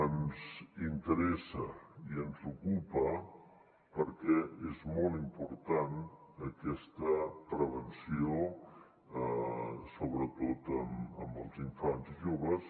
ens interessa i ens ocupa perquè és molt important aquesta prevenció sobretot en els infants i joves